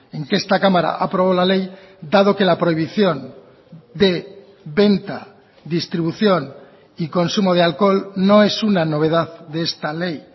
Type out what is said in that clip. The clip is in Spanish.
en que esta cámara aprobó la ley dado que la prohibición de venta distribución y consumo de alcohol no es una novedad de esta ley